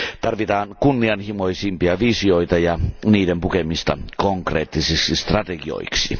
Tarvitaan kunnianhimoisempia visioita ja niiden pukemista konkreettisiksi strategioiksi.